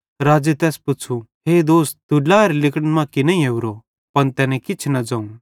राज़े तैस पुच़्छ़ू हे दोस्त तू ड्लाएरे लिगड़न मां की नईं ओरो पन तैने किछ न ज़ोवं